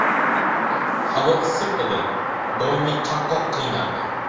Havo issiq edi , doimiy chanqoq qiynardi .